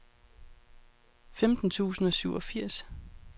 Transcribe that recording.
femten tusind og syvogfirs